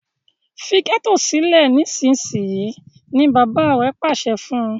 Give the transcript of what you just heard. Fí getto sile nísìsiyìí! ní bàbá rẹ pàṣẹ fún.